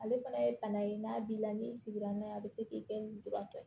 Ale fana ye bana ye n'a b'i la n'i sigira n'a ye a bɛ se k'i lujuratɔ ye